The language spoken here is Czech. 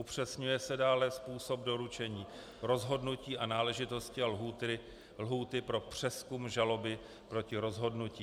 Upřesňuje se dále způsob doručení rozhodnutí a náležitosti a lhůty pro přezkum žaloby proti rozhodnutí.